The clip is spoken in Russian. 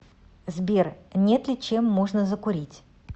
сбер нет ли чем можно закурить